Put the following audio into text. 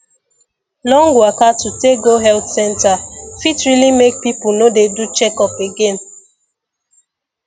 long waka to take go health center fit really make people no dey do checkup again